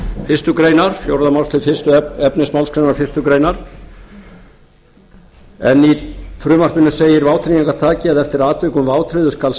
fyrstu grein fjórða málsgrein efnismálsgreinar einni grein en í frumvarpinu segir vátryggingartaki eða eftir atvikum vátryggður skal